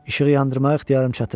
İşığı yandırmağa ixtiyarım çatır.